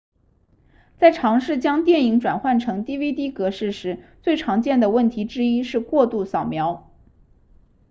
在尝试将电影转换成 dvd 格式时最常见的问题之一是过度扫描